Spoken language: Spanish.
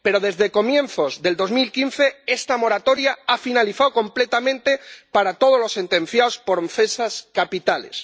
Pero desde comienzos de 2015 esta moratoria ha finalizado completamente para todos los sentenciados por delitos capitales.